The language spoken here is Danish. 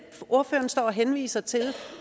ordføreren står og henviser til